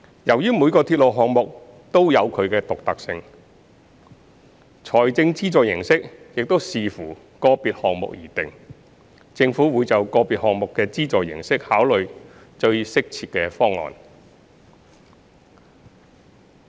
由於每個鐵路項目也有其獨特性，財政資助形式應視乎個別項目而定，政府會就個別項目的資助形式考慮最適切的方案。